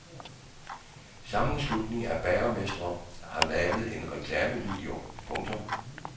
En sammenslutning af bagermestre har lavet en reklamevideo. punktum